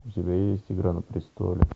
у тебя есть игра на престоле